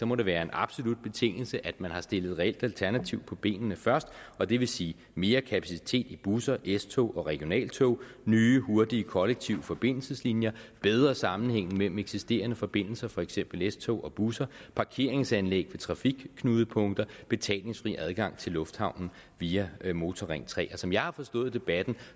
må det være en absolut betingelse at man har stillet et reelt alternativ på benene først og det vil sige mere kapacitet i busser s tog og regionaltog nye hurtige kollektive forbindelseslinjer bedre sammenhænge mellem eksisterende forbindelser for eksempel s tog og busser parkeringsanlæg ved trafikknudepunkter og betalingsfri adgang til lufthavnen via motorring tredje som jeg har forstået debatten